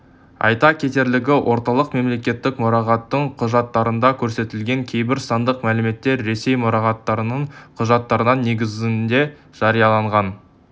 айта кетерлігі орталық мемлекеттік мұрағаттың құжаттарында көрсетілген кейбір сандық мәліметтер ресей мұрағаттарының құжаттарының негізінде жарияланған